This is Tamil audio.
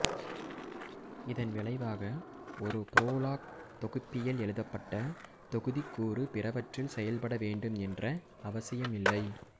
இதன் விளைவாக ஒரு புரோலாக் தொகுப்பியில் எழுதப்பட்ட தொகுதிக்கூறு பிறவற்றில் செயல்பட வேண்டும் என்ற அவசியம் இல்லை